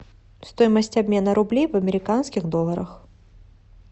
стоимость обмена рублей в американских долларах